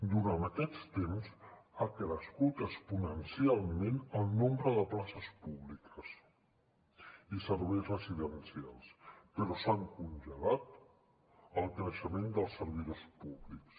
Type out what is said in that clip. durant aquests temps ha crescut exponencialment el nombre de places públiques i serveis residencials però s’han congelat el creixement dels servidors públics